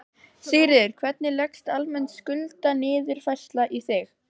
Sigríður: Hvernig leggst almenn skuldaniðurfærsla í þig?